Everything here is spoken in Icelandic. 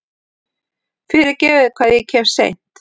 Fyrirgefiði hvað ég kem seint.